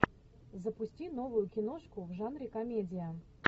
запусти новую киношку в жанре комедия